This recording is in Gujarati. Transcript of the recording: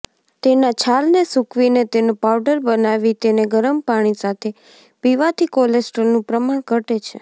તેના છાલને સૂકવીને તેનો પાઉડર બનાવી તેને ગરમ પાણી સાથે પીવાથી કોલેસ્ટ્રોલનું પ્રમાણ ઘટે છે